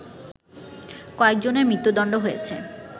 কয়েকজনের মৃত্যুদণ্ড হয়েছে